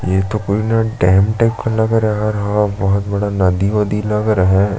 ये तो कोई न डैम टाइप का लग रहा है और हा बहोत बड़ा नदी उदी लग रहा है।